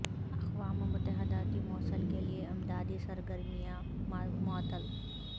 اقوام متحدہ کی موصل کے لیے امدادی سرگرمیاں معطل